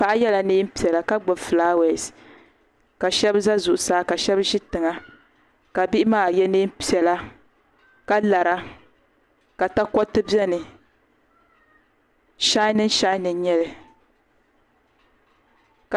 Paɣa yela niɛn'piɛla ka gbibi filaawaasi ka sheba za zuɣusaa ka sheba ʒi tiŋa ka bihi maa ye niɛn piɛla ka lara ka takoriti biɛni shanin shanin n nyɛli.